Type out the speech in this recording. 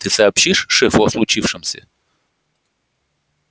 ты сообщишь шефу о случившемся